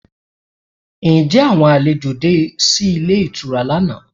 Ǹjẹ́ àwọn àlejò de sí ilé ìtura lánàá?